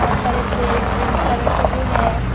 बहुत सारे पेड़ ग्रीन कलर के भी हैं।